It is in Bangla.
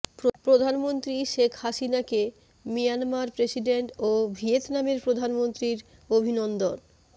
প্রধানমন্ত্রী শেখ হাসিনাকে মিয়ানমার প্রেসিডেন্ট ও ভিয়েতনামের প্রধানমন্ত্রীর অভিনন্দন